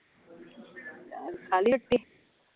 ਖਾਲੀ ਰੋਟੀ?